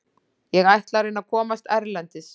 Ég ætla að reyna að komast erlendis.